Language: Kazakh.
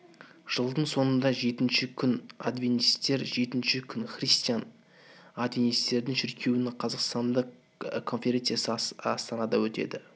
жылдың соңында жетінші күн адвентистер жетінші күн христиан адвентистердің шіркеуінің қазақстандық конференциясы астанада өтті